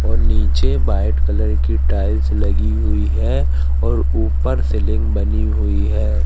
और नीचे white colour की टाइल्स लगी हुई है और ऊपर सीलिंग बनी हुई है।